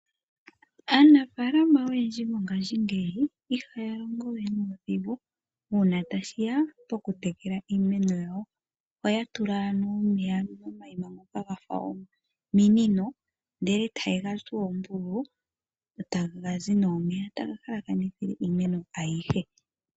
Aanafaalama oyendji mo ngashingeyi ihaya longo we nuudhigu uuna tashi ya pokutekela iimeno yawo. Ohaya tula omeya momaima ngoka gafa ominino ndele e ta ye ga tsu oombululu, taga zi nee omeya taga halakanithile iimeno ayihe.